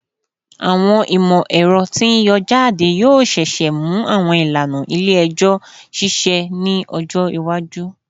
Awọn imọ-ẹrọ ti n yọ jade yoo ṣee ṣe mu awọn ilana ile-ẹjọ ṣiṣẹ ni ọjọ iwaju